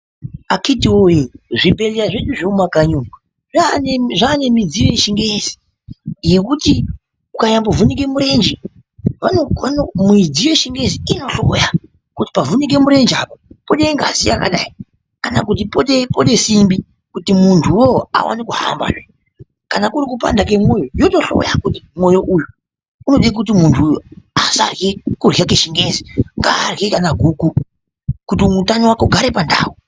Akiti woyee zvibhedhleya zvedu zvemumakanyi umo zvane midziyo yechingezi yekuti ukanyambo vhunike murenje, midziyo yechingezi inohloya kuti pavhunike murenje apa pode ngazi yakadini kana kuti pode simbi kuti munduwo alone kuhamba zvee. Kana kuri kupanda kwemoyo yotohloya kuti moyo uyu unode kuti muntu asarwe kurwa kwechingezi, ngaarwe kana guku kuti utano wake ugare pandau.